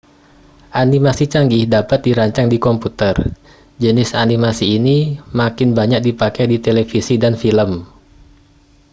animasi canggih dapat dirancang di komputer jenis animasi ini makin banyak dipakai di televisi dan film